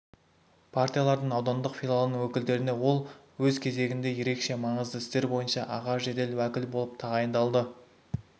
партиялардың аудандық филиалының өкілдеріне ол өз кезегінде ерекше маңызды істер бойынша аға жедел уәкіл болып тағайындалды